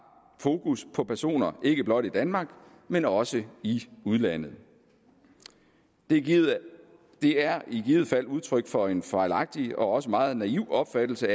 fokus på personer ikke blot i danmark men også i udlandet det er i givet fald udtryk for en fejlagtig og også meget naiv opfattelse